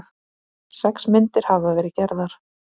Sex myndir hafa verið gerðar